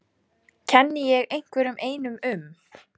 Kenni ég einhverjum einum um?